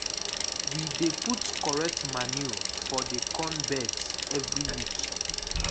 we dey put correct manure for the corn beds every week.